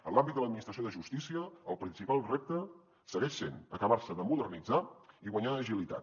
en l’àmbit de l’administració de justícia el principal repte segueix sent acabar se de modernitzar i guanyar agilitat